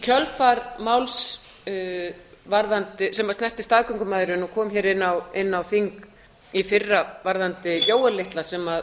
kjölfar máls sem snertir staðgöngumæðrun og kom hér inn á þing í fyrra varðandi jóel litla sem